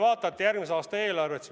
Vaadake järgmise aasta eelarvet.